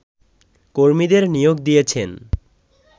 কর্মীদের নিয়োগ দিয়েছেন